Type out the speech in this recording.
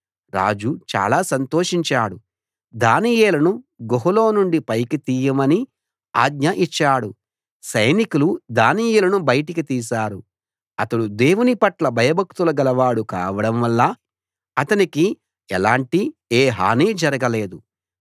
రాజు చాలా సంతోషించాడు దానియేలును గుహలో నుండి పైకి తీయమని ఆజ్ఞ ఇచ్చాడు సైనికులు దానియేలును బయటికి తీశారు అతడు దేవునిపట్ల భయభక్తులు గలవాడు కావడం వల్ల అతనికి ఎలాంటి ఏ హానీ జరగలేదు